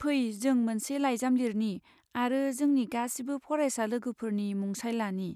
फै, जों मोनसे लाइजाम लिरनि आरो जोंनि गासिबो फरायसा लोगोफोरनि मुंसाइ लानि।